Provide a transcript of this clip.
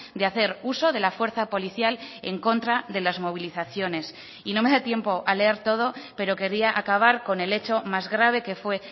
de hacer uso de la fuerza policial en contra de las movilizaciones y no me da tiempo a leer todo pero quería acabar con el hecho más grave que fue